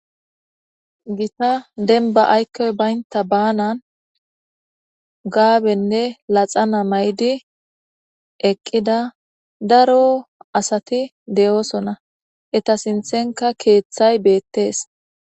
Gitta denba aykkoy baynta baanan gaabenne laxana mayidi eqqida daro asati de'oosona eta sinthenka keeththay beettees